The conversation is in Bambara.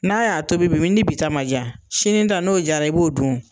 N'a y'a tobi bi ni bi ta ma ja sini ta n'o jara i b'o dun